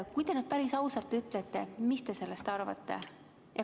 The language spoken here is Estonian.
Kui te nüüd päris ausalt ütlete, siis mis te sellest arvate?